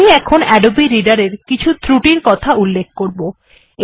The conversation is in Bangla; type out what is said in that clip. আমি এখন আদবে রিডার এর কিছু ত্রুটির কথা উল্লেখ করব